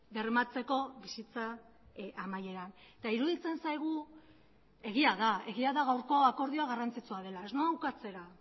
bermatzeko bizitza amaieran eta iruditzen zaigu egia da egia da gaurko akordioa garrantzitsua dela ez noa ukatzera